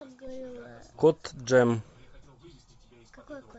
кот джем